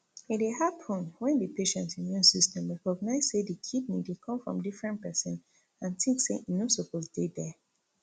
e dey happun wen di patient immune system recognise say di kidney dey come from different person and think say e no suppose dey there